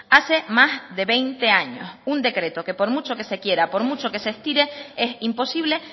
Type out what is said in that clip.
hace más de veinte años un decreto que por mucho que se quiera por mucho que se estire es imposible